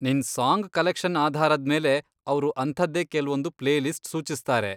ನಿನ್ song collection ಆಧಾರದ್ಮೇಲೆ, ಅವ್ರು ಅಂಥದ್ದೇ ಕೆಲ್ವೊಂದು ಪ್ಲೇಲಿಸ್ಟ್ ಸೂಚಿಸ್ತಾರೆ.